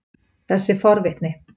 þessi forvitni